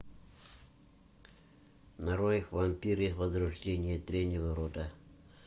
нарой вампиры возрождение древнего рода